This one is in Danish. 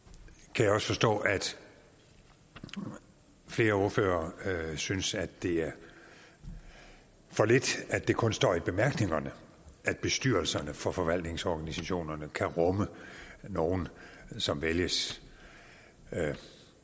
kan jeg også forstå at flere ordførere synes at det er for lidt at det kun står i bemærkningerne at bestyrelserne for forvaltningsorganisationerne kan rumme nogen som vælges af